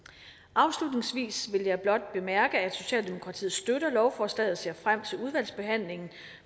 afslutningsvis vil jeg blot bemærke at socialdemokratiet støtter lovforslaget og ser frem til udvalgsbehandlingen